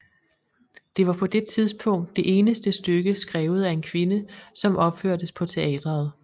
Det var på det tidspunkt det eneste stykke skrevet af en kvinde som opførtes på teateret